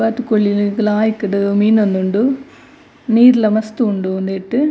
ಬಾತ್ಕೋಳಿಲ್ ಲಾಯ್ಕುಡು ಮೀನೊಂದುಂಡು ನೀರ್ಲ ಮಸ್ತ್ ಉಂಡು ಉಂದೆಟ್.